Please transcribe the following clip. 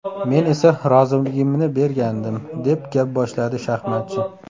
Men esa roziligimni bergandim”, deb gap boshladi shaxmatchi.